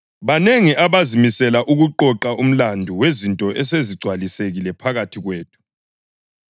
Banengi asebazimisela ukuqoqa umlando wezinto esezigcwalisekile phakathi kwethu,